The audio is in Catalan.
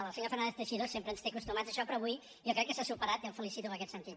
el senyor fernández teixidó sempre ens té acostumats a això però avui jo crec que s’ha superat i el felicito en aquest sentit